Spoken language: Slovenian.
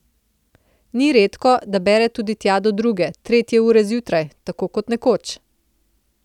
Ni redko, da bere tudi tja do druge, tretje ure zjutraj, tako kot nekoč.